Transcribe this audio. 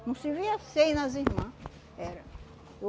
Não se via seio nas irmã. Era